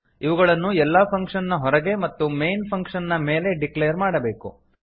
ಇವುಗಳನ್ನು ಎಲ್ಲ ಫಂಕ್ಷನ್ ನ ಹೊರಗೆ ಮತ್ತು ಮೈನ್ ಫಂಕ್ಷನ್ ನ ಮೇಲೆ ಡಿಕ್ಲೇರ್ ಮಾಡಬೇಕು